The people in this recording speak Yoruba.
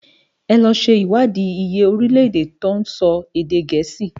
È lò ṣé iwádi iyé órilè-èdè tó nsò èdè Gẹẹsi.